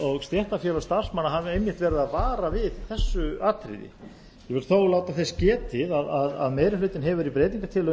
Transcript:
og stéttarfélög starfsmanna hafa einmitt verið að vara við þessu atriði ég vil þó láta þess getið að meiri hlutinn hefur í breytingartillögum